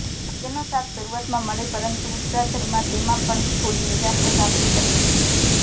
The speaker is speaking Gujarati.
ભાગ્યનો સાથ શરૂઆતમાં મળે પરંતુ ઉત્તરાર્ધમાં તેમાં પણ થોડી નિરાશા સાંપડી શકે છે